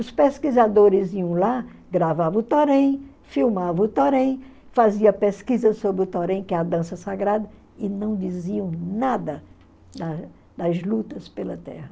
Os pesquisadores iam lá, gravavam o Torém, filmavam o Torém, faziam pesquisa sobre o Torém, que é a dança sagrada, e não diziam nada da das lutas pela terra.